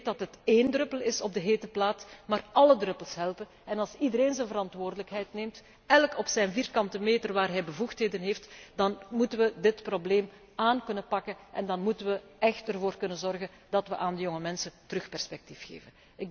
te krijgen. Ik weet dat het een druppel op een gloeiende plaat is, maar alle druppels helpen en als iedereen zijn verantwoordelijkheid neemt op de vierkante meter waarop hij bevoegdheden heeft, dan moeten we dit probleem kunnen aanpakken en dan moeten we er echt voor kunnen zorgen dat we de jonge mensen weer perspectief